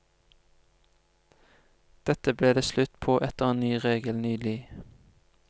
Dette ble det slutt på etter en ny regel nylig.